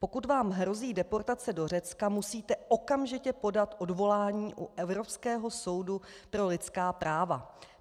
Pokud vám hrozí deportace do Řecka, musíte okamžitě podat odvolání u Evropského soudu pro lidská práva.